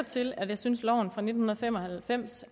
til at jeg synes at loven fra nitten fem og halvfems